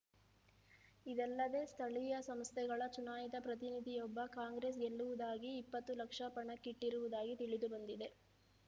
ಇದಲ್ಲದೆ ಸ್ಥಳೀಯ ಸಂಸ್ಥೆಗಳ ಚುನಾಯಿತ ಪ್ರತಿನಿಧಿಯೊಬ್ಬ ಕಾಂಗ್ರೆಸ್‌ ಗೆಲ್ಲುವುದಾಗಿ ಇಪ್ಪತ್ತು ಲಕ್ಷ ಪಣಕ್ಕಿಟ್ಟಿರುವುದಾಗಿ ತಿಳಿದು ಬಂದಿದೆ